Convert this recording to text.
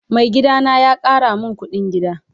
Mai gida na ya Kara min kudin gida.